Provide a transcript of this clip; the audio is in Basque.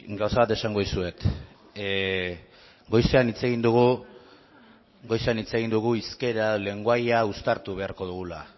gauza bat esango dizuet goizean hitz egin dugu hizkera lengoaia uztartu beharko dugula